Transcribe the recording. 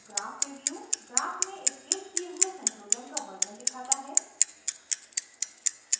graph preview graph में scaled किये हुए संशोधन का version दिखाता है